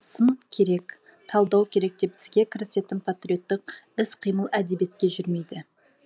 сын керек талдау керек деп іске кірісетін патриоттық іс қимыл әдебиетке жүрмейді